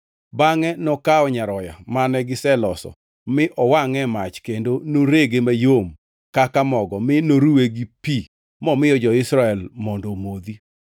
Bangʼe nokawo nyaroya mane giseloso mi owangʼe e mach kendo norege mayom kaka mogo mi noruwe gi pi momiyo jo-Israel mondo omodhi.